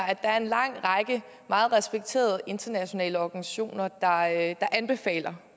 at der er en lang række meget respekterede internationale organisationer der meget anbefaler